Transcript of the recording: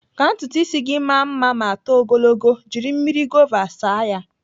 Ka ntutu ịsị gị maa mma ma too ogologo, jiri mmiri gova saa ya.